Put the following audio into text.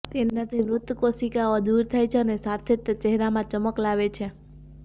તેનાથી મૃત કોશિકાઓ દૂર થાય છે અને સાથે જ તે ચહેરામાં ચમક આવે છે